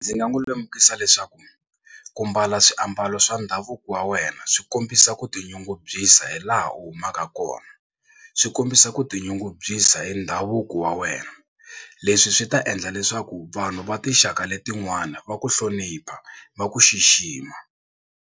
Ndzi nga n'wi lemukisa leswaku ku mbala swiambalo swa ndhavuko wa wena swi kombisa ku tinyungubyisa hi laha u humaka kona swi kombisa ku tinyungubyisa hi ndhavuko wa wena leswi swi ta endla leswaku vanhu va tinxaka letin'wana va ku hlonipha va ku xixima.